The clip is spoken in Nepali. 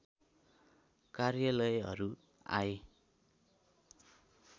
कार्यालयहरू आए